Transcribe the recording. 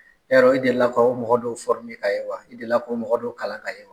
Yarɔ, i delila ka u mɔgɔ dɔw ye wa? I delila k'u mɔgɔ dɔw kalan ka ye wa?